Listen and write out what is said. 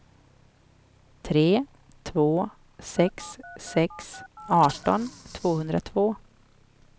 tre två sex sex arton tvåhundratvå